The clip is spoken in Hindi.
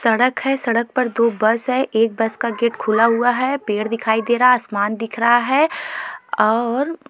सड़क है सड़क पर दो बस है एक बस का गेट खुला हुआ है पेड़ दिखाई दे रहा आसमान दिख रहा है और।